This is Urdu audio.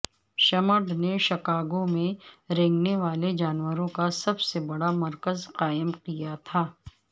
شمڈ نے شکاگو میں رینگنے والے جانوروں کا سب سے بڑا مرکز قائم کیا تھا